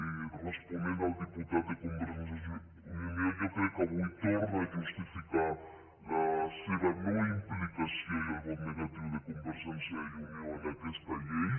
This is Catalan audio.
i responent al diputat de convergència i unió jo crec que avui torna a justificar la seva no implicació i el vot negatiu de convergència i unió en aquesta llei